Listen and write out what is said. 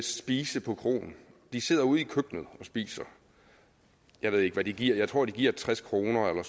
spise på kroen de sidder ude i køkkenet og spiser jeg ved ikke hvad de giver jeg tror de giver tres kroner eller